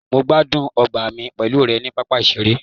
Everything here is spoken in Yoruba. mo gbádùn ọgbà mi pẹlu rẹ ni papa iṣere